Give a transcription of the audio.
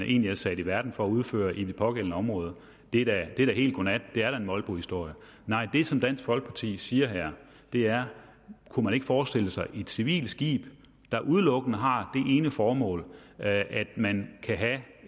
egentlig var sat i verden for at udføre i det pågældende område er da helt godnat det er da en molbohistorie nej det som dansk folkeparti siger her er kunne man ikke forestille sig et civilt skib der udelukkende har det formål at man kan